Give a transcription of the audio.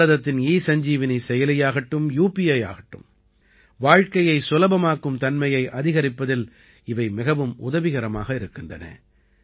பாரதத்தின் ஈசஞ்ஜீவனி செயலியாகட்டும் யுபிஐ ஆகட்டும் வாழ்க்கையை சுலபமாக்கும் தன்மையை அதிகரிப்பதில் இவை மிகவும் உதவிகரமாக இருக்கின்றன